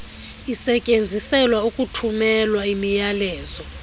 isetyenziselwa ukuthumela imiyalezo